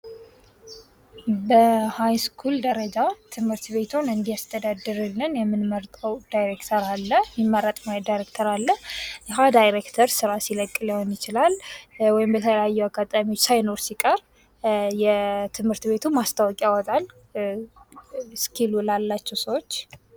በሀይስኩል ደረጀ ትምህርት ቤቱን እንዲያስተዳድርልን የምንመርጠ ዳይሬክተር አለ። ይህ ዳይሬክተር ስራ ሲለቅ ሊሆን ይችላል። ወይም በተለያዩ አጋጣሚዎች ስይኖር ሲቀር ትምህርት ቤቱ ማስታወቂያ ያወጣል።